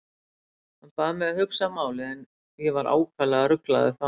Hann bað mig að hugsa málið en ég var ákaflega ruglaður þá.